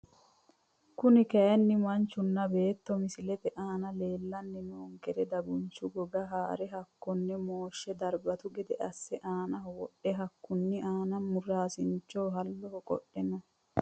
Kuri kayiini manchuna beeto misilete aana leelani noonkeri dagunchu goga haare hakonne mooshe darbatu gede asse aanaho wodhe hakkuni aana muraasincho halloho qodhe no.